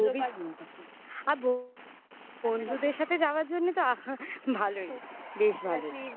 খুবই সুন্দর আ বন্ধুদের সাথে যাওয়ার জন্যে তো আহা ভালোই. বেশ ভালো.